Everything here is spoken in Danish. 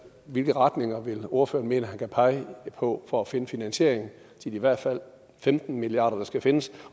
hvilke retninger vil ordføreren mene at han kan pege på for at finde finansiering til de i hvert fald femten milliard skal findes